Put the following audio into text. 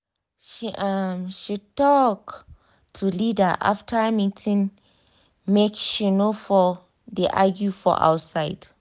she um talk to leader after meeting make she for no um de argue for outside